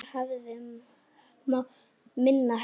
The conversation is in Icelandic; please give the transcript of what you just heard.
Það hafði mátt minna heyra.